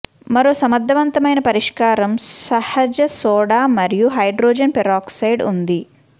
మరో సమర్థవంతమైన పరిష్కారం సహజ సోడా మరియు హైడ్రోజన్ పెరాక్సైడ్ ఉంది